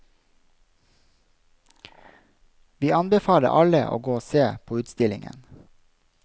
Vi anbefaler alle å gå og se på utstillingen.